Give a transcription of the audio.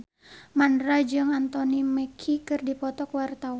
Mandra jeung Anthony Mackie keur dipoto ku wartawan